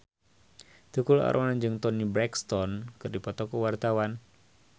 Tukul Arwana jeung Toni Brexton keur dipoto ku wartawan